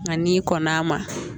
Nka n'i kɔnn'a ma